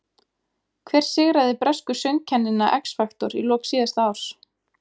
Hver sigraði bresku söngkennina X Factor í lok síðasta árs?